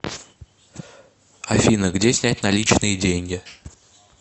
афина где снять наличные деньги